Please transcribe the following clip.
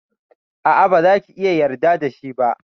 A'a, baza ki iya yarda da shi ba.